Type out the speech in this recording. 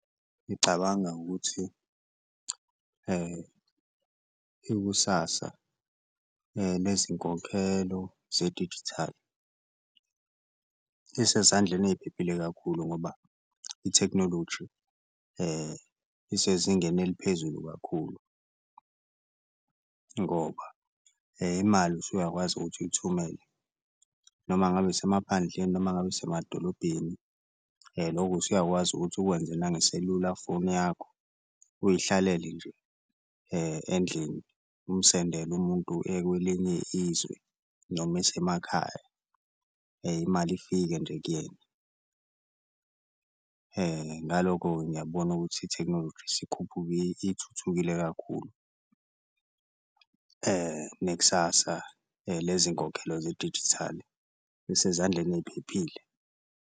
Ngicabanga ukuthi [uml ikusasa lezinkokhelo zedijithali lisezandleni eyiphephile kakhulu ngoba ithekhinoloji isezingeni eliphezulu kakhulu, ngoba imali usuyakwazi ukuthi uyithumele noma ngabe isemaphandleni noma ngabe isemadolobheni, loku usuyakwazi ukuthi ukwenze nangeselulafoni yakho uyihlalele nje endlini umsendele umuntu ekwelinye izwe noma esemakhaya imali ifike nje kuyena. Ngaloko-ke ngiyakubona ukuthi ithekhinoloji ithuthukile kakhulu nekusasa lezinkokhelo zedijithali lisezandleni eyiphephile.